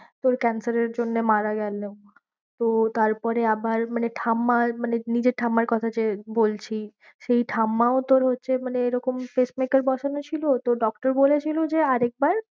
তোর cancer এর জন্য মারা গেলো। তো তারপরে আবার মানে ঠাম্মার মানে নিজের ঠাম্মার কথা যে বলছি। সেই ঠাম্মাও তোর হচ্ছে মানে এরকম pacemaker বসানো ছিল তো doctor বলেছিলো যে আর একবার